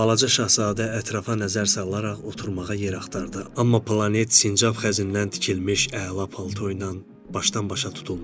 Balaca Şahzadə ətrafa nəzər salaraq oturmağa yer axtardı, amma planet sincab xəzindən tikilmiş əla paltoyla başdan-başa tutulmuşdu.